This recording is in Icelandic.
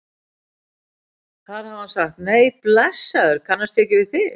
Þar hafi hann sagt: Nei blessaður, kannast ég ekki við þig?